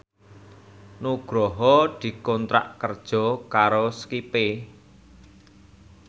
Nugroho dikontrak kerja karo Skype